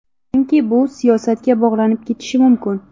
Chunki bu siyosatga bog‘lanib ketishi mumkin.